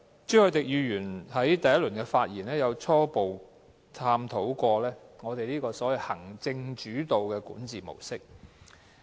朱凱廸議員在第一次發言時，初步探討過行政主導的管治模式。